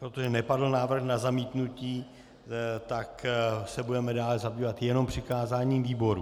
Protože nepadl návrh na zamítnutí, tak se budeme dále zabývat jenom přikázáním výboru.